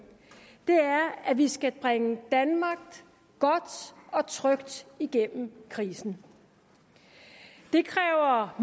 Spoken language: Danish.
er at vi skal bringe danmark godt og trygt igennem krisen det kræver